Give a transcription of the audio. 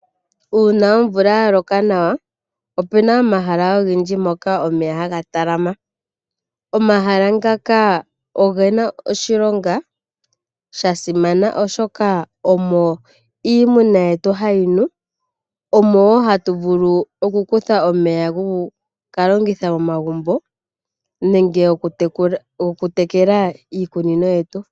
Uuna omvula ya loka nawa opena omahala ogendji mpoka omeya haga talama. Omahala ngaka ogena oshilonga sha sima oshoka omo iimuna yetu hayi nu omowo hatu vulu oku kutha omeya goku ka longitha momagumbo nenge goku tekela iikunino yetu.